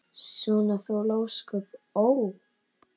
Svona þoli ósköp, ó!